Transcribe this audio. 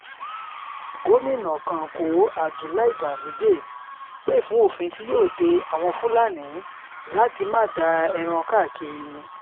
gomina kánkó abdullahi ganduje pé fún òfin tí yóò de àwọn fúlàní láti máa da ẹran káàkiri